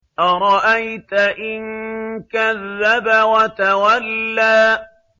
أَرَأَيْتَ إِن كَذَّبَ وَتَوَلَّىٰ